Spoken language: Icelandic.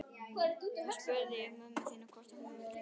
Þá spurði ég mömmu þína hvort hún vildi giftast mér.